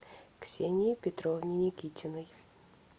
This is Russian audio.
ксении петровне никитиной